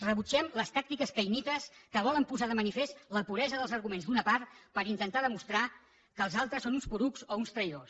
rebutgem les tàctiques caïnites que volen posar de manifest la puresa dels arguments d’una part per intentar demostrar que els altres són uns porucs o uns traïdors